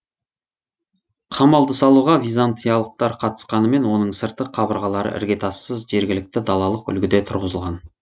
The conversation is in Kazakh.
қамалды салуға византиялықтар қатысқанымен оның сыртқы қабырғалары іргетассыз жергілікті далалық үлгіде тұрғызылған